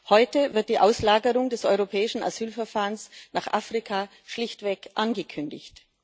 Heute wird die Auslagerung des europäischen Asylverfahrens nach Afrika schlichtweg angekündigt.